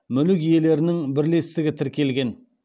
мүлік иелерінің бірлестігі тіркелген